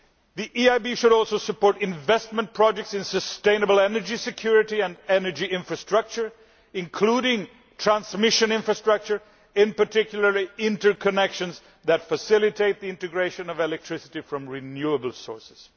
The EIB should also support investment projects in sustainable energy security and energy infrastructure, including transmission infrastructure, in particular interconnections that facilitate the integration of electricity from renewable sources.